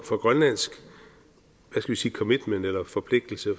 for grønlandsk commitment eller forpligtelse